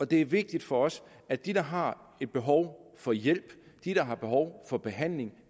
det er vigtigt for os at de der har behov for hjælp de der har behov for behandling